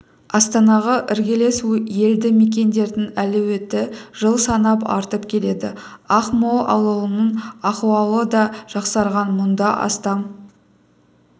астанаға іргелес елді мекендердің әлеуеті жыл санап артып келеді ақмол ауылының ахуалы да жақсарған мұнда астам